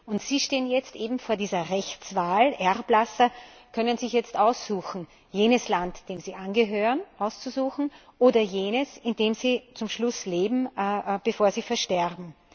Und sie stehen jetzt eben vor dieser Rechtswahl Erblasser können sich jetzt aussuchen jenes Land, dem sie angehören, oder jenes, in dem sie zum Schluss leben, bevor sie versterben.